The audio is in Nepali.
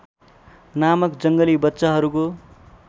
नामक जङ्गली बच्चाहरूको